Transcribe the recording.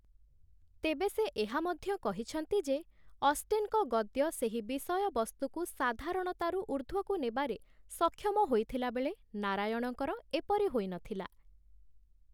ତେବେ ସେ ଏହା ମଧ୍ୟ କହିଛନ୍ତି ଯେ, ଅଷ୍ଟେନଙ୍କ ଗଦ୍ୟ ସେହି ବିଷୟବସ୍ତୁକୁ ସାଧାରଣତାରୁ ଊର୍ଦ୍ଧ୍ୱକୁ ନେବାରେ ସକ୍ଷମ ହୋଇଥିଲା ବେଳେ ନାରାୟଣଙ୍କର ଏପରି ହୋଇନଥିଲା ।